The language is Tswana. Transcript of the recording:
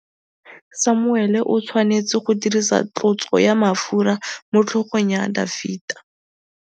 Samuele o tshwanetse go dirisa tlotsô ya mafura motlhôgong ya Dafita.